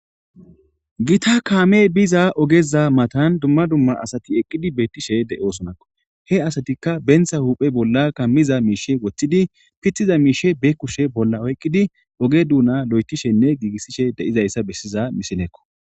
Gita kaame biza ogeza matan dumma dumma asati eqqidi beettishe de' osonakko he asatikka bentha huuphe bolla kammiza miishe woththidi pithiza miishe beekkushe bolla oyqqidi oge duuna lo7etishenne giigissishe de'izayssa bessiza misileekko.